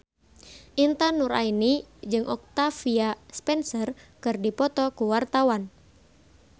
Intan Nuraini jeung Octavia Spencer keur dipoto ku wartawan